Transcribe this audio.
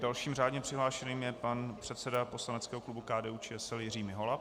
Dalším řádně přihlášeným je pan předseda poslaneckého klubu KDU-ČSL Jiří Mihola.